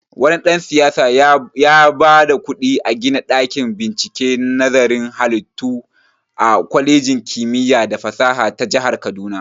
Wani dan-siyasa yaba da kuɗi a gina ɗakin binciken nazarin halittu a kwalejin kimiya da fasaha ta jahar kaduna.